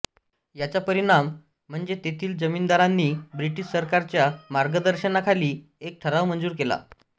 याचा परिणाम म्हणजे तेथील जमीनदारांनी ब्रिटिश सरकारच्या मार्गदर्शनाखाली एक ठराव मंजूर केला